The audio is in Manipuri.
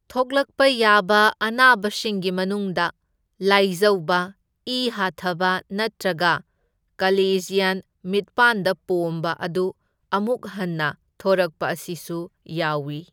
ꯊꯣꯛꯂꯛꯄ ꯌꯥꯕ ꯑꯅꯥꯕꯁꯤꯡꯒꯤ ꯃꯅꯨꯡꯗ, ꯂꯥꯢꯖꯧꯕ, ꯏ ꯍꯥꯊꯕ ꯅꯠꯇ꯭ꯔꯒ ꯀꯂꯦꯖ꯭ꯌꯟ ꯃꯤꯠꯄꯥꯟꯗ ꯄꯣꯝꯕ ꯑꯗꯨ ꯑꯃꯨꯛ ꯍꯟꯅ ꯊꯣꯔꯛꯄ ꯑꯁꯤꯁꯨ ꯌꯥꯎꯢ꯫